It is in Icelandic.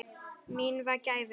Mín var gæfan.